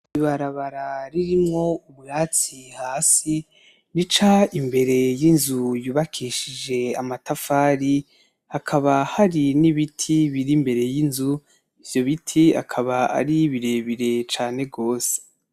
Ibarabara ririmwo ubwatsi hasi rica imbere yinzu yubakishije amatafari , hakaba hari n'ibiti biri imbere y'inzu ivyobiti bikaba ari birebire cane gose .